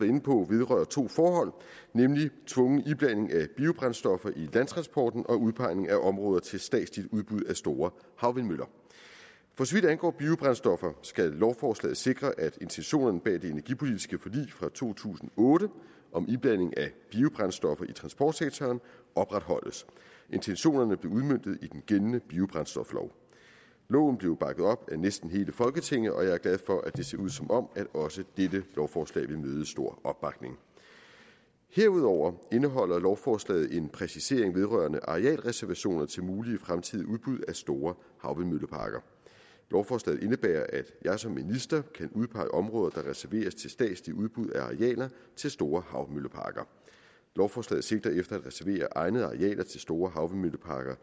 inde på vedrører to forhold nemlig tvungen iblanding af biobrændstoffer i landtransporten og udpegning af områder til statsligt udbud af store havvindmøller for så vidt angår biobrændstoffer skal lovforslaget sikre at intentionerne bag det energipolitiske forlig fra to tusind og otte om iblanding af biobrændstoffer i transportsektoren opretholdes intentionerne blev udmøntet i den gældende biobrændstoflov loven blev bakket op af næsten hele folketinget og jeg er glad for at det ser ud som om også dette lovforslag vil møde stor opbakning herudover indeholder lovforslaget en præcisering vedrørende arealreservationer til mulige fremtidige udbud af store havvindmølleparker lovforslaget indebærer at jeg som minister kan udpege områder der reserveres til statsligt udbud af arealer til store havmølleparker lovforslaget sigter efter at reservere egnede arealer til store havvindmølleparker